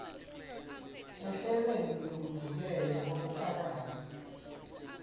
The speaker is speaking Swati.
ehlelweni lwekuvikelwa kwabofakazi